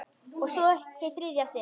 Og svo- hið þriðja sinn.